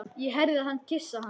Ég heyrði hann kyssa hana.